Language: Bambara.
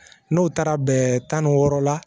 N'o taara bɛn tan ni wɔɔrɔ la